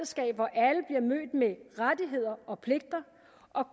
jeg mødt med rettigheder og pligter